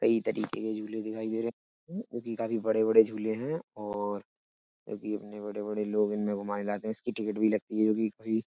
कई तरीके के झूले दिखाई दे रहे काफी बड़े बड़े झूले हैं और क्योंकि इतने बड़े बड़े लोग इनमे घुमाए जाते हैं इसकी टिकट भी लगती है जो कि फ्री --